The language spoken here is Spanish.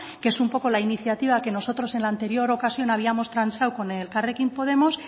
que es un poco la iniciativa que nosotros en la anterior ocasión habíamos transado con elkarrekin podemos